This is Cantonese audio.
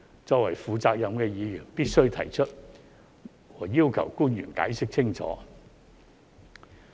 作為負責任的議員必須提出，以及要求官員解釋清楚。